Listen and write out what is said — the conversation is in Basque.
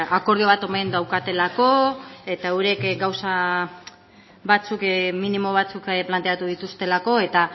akordio bat omen daukatelako eta eurek gauza batzuk minimo batzuk planteatu dituztelako eta